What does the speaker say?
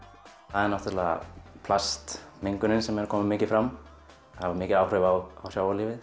það er náttúrulega plastmengunin sem er að koma mikið fram hefur mikil áhrif á